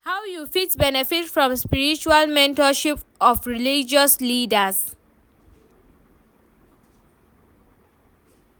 How you fit benefit from spiritual mentorship of religious leaders?